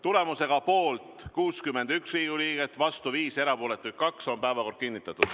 Tulemusega poolt 61 Riigikogu liiget, vastu 5 ja erapooletuid 2, on päevakord kinnitatud.